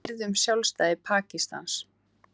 Við virðum sjálfstæði Pakistans